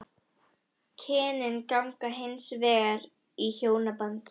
Kynin ganga hins vegar í hjónaband.